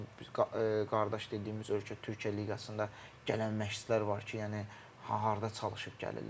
Misal üçün, qardaş dediyimiz ölkə Türkiyə liqasında gələn məşçilər var ki, yəni harda çalışıb gəlirlər?